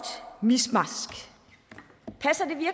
miskmask passer